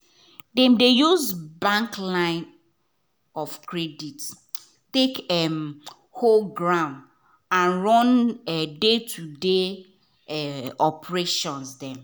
dem dey use bank line of credit take um hold ground and run day-to-day um operations.